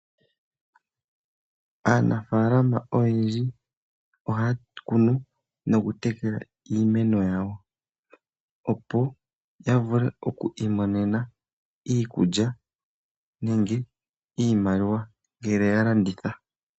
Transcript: Aanafalama oyendji ohaya kunu noku tekela iimeno yawo opo ya vule oku i monena iikulya nenge iimaliwa ngele ya landitha.